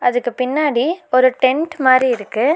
இதுக்கு பின்னாடி ஒரு டென்ட் மாரி இருக்கு.